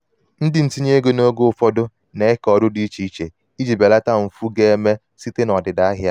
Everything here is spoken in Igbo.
ndị ntinye ego n'oge ụfọdụ ego n'oge ụfọdụ n'eke ọrụ dị iche iche iji belata mfu ga-eme site n'ọdịda ahịa.